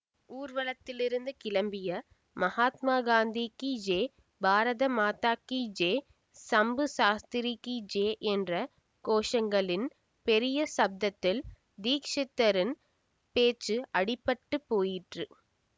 ஊர்வலத்திலிருந்து கிளம்பிய மகாத்மா காந்திகி ஜே பாரத மாதாகி ஜே சம்பு சாஸ்திரிகி ஜே என்ற கோஷங்களின் பெரிய சப்தத்தில் தீக்ஷிதரின் பேச்சு அடிபட்டுப் போயிற்று